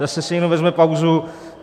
Zase si někdo vezme pauzu.